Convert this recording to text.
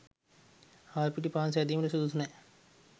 හාල් පිටි පාන් සැදීමට සුදුසු නෑ.